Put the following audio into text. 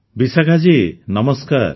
ବିଶାଖା ଜୀ ନମସ୍କାର